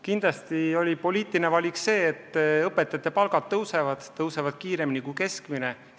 Kindlasti on poliitiline valik see, et õpetajate palgad tõusevad, ja tõusevad kiiremini kui keskmine palk.